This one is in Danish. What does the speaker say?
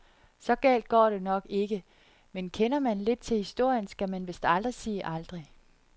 Så galt går det nok ikke, men kender man lidt til historien, skal man vist aldrig sige aldrig.